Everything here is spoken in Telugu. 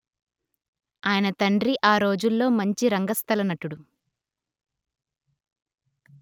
ఆయన తండ్రి ఆ రోజులలో మంచి రంగస్థల నటుడు